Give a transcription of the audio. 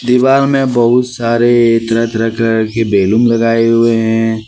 दीवार में बहुत सारे तरह तरह कलर के बैलून लगाए हुए हैं।